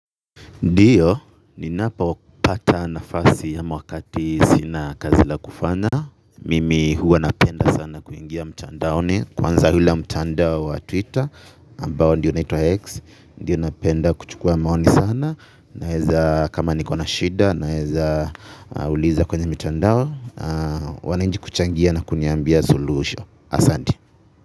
Ndiyo, ninapopata nafasi ama wakati sina kazi la kufanya. Mimi huwa napenda sana kuingia mtandaoni kwanza ule mtandao wa twitter ambao ndio unaitwa X ndio napenda kuchukua maoni sana naweza kama niko na shida naweza uliza kwenye mitandao wananchi kuchangia na kuniambia suluhisho. Asanti.